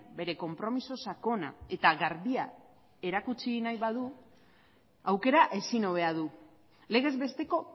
bere konpromiso sakona eta garbia erakutsi nahi badu aukera ezin hobea du legez besteko